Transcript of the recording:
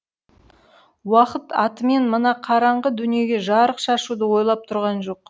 уақыт атымен мына қараңғы дүниеге жарық шашуды ойлап тұрған жоқ